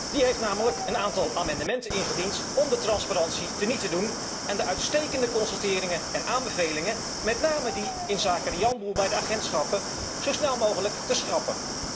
Die heeft namelijk een aantal amendementen ingediend om de transparantie teniet te doen en de uitstekende constateringen en aanbevelingen, met name die inzake de janboel bij de agentschappen, zo snel mogelijk te schrappen.